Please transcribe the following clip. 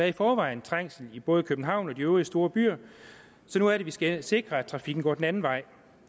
i forvejen trængsel i både københavn og de øvrige store byer så nu er det vi skal sikre at trafikken går den anden vej